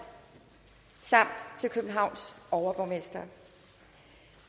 samt til københavns overborgmester